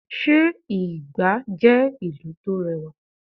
sé igba jẹ ìlú to rẹwa?